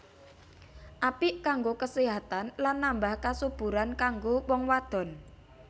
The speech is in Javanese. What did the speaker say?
Apik kanggo kasehatan lan nambah kasuburan kanggo wong wadon